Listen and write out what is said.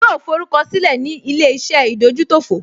Yóò forúkọ sílẹ̀ ní ilé-iṣẹ́ ìdójútòfò